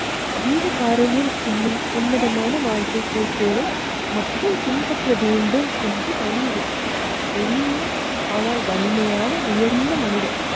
ஜீவ காருண்யம் என்னும் உன்னதமான வாழ்க்கைக் குறிக்கோளை மக்கள் பின்பற்ற வேண்டும் என்று வலியுறுத்தி எளிய ஆனால் வலிமையான உயர்ந்த மனிதர்.